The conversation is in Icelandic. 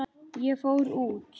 Ég fór út.